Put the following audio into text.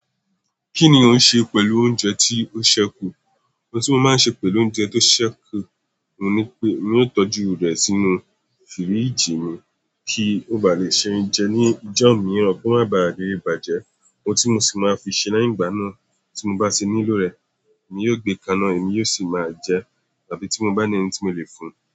Kí ni o ń ṣe pẹ̀lú oúnjẹ tí ó ṣẹku? Ohun tí mo máa ń ṣe pẹ̀lú oúnjẹ tó ṣẹku ni wípé mi ò tọ́jú rẹ̀ sínú fíríjì mi kí ó ba lè ṣe é jẹ ní ìjọ́ miiran ko ma bá tẹtẹ bàjẹ́. Ohun tí mo sì máa fi ṣe leyin igbà na tí mo bá tì nílò rẹ̀ mi yóò gbé kaná èmi yóò sì máa jẹ, tàbí tí mo bá ní ẹni tí mo le fún un.